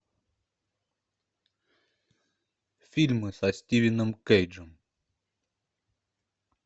фильмы со стивеном кейджем